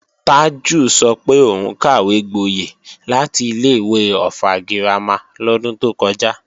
Tájù sọ pé òun kàwégboyẹ̀ láti ilé-ìwé Ọ̀ffà girama lọ́dún tó kọjá